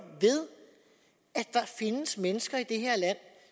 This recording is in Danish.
ved at der findes mennesker i det her land